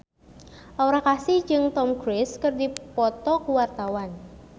Aura Kasih jeung Tom Cruise keur dipoto ku wartawan